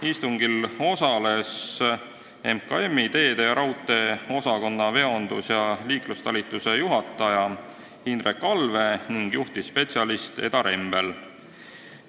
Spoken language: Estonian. Istungitel osalesid MKM-i teede- ja raudteeosakonna veondus- ja liiklustalituse juhataja Hindrek Allvee ning juhtivspetsialist Eda Rembel.